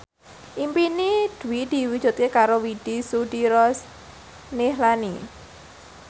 impine Dwi diwujudke karo Widy Soediro Nichlany